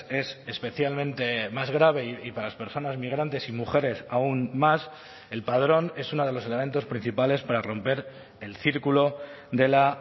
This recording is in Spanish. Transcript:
es especialmente más grave y para las personas migrantes y mujeres aún más el padrón es uno de los elementos principales para romper el círculo de la